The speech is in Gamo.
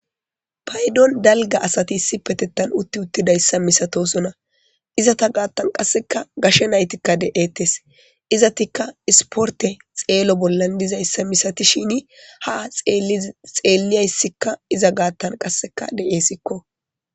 Paydon dalga asati issi petettan utti uttidayssa misatosuna izata gaattan qasseka gashe naytikka de'ettes izatikka isporte xeelo bollan dizayssa misatishini ha xeelliyayssikka iza gaattan qasseka de'esikko.